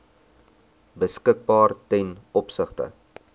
beskikbaar ten opsigte